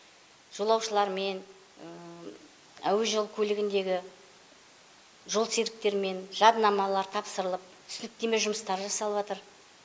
жолаушылармен әуежол көлігіндегі жол серіктермен жарнамалар тапсырылып түсініктеме жұмыстары жасалыватыр